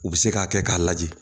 U bɛ se k'a kɛ k'a lajɛ